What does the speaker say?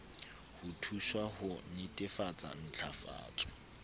ho thuswa ho netefatsa ntlafatso